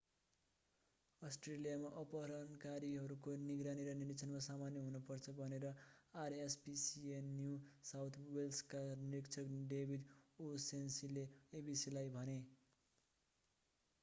अस्ट्रेलियामा अपहरणकारीहरूको निगरानी र निरिक्षण सामान्य हुनु पर्छ भनेर rspca न्यु साउथ वेल्सका निरिक्षक डेभिड ओ'शनेसीले abcलाई भने।